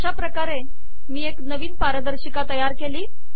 अशा प्रकारे मी एक नवीन पारदर्शिका तयार केली